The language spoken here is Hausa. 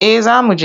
Eh za mu je.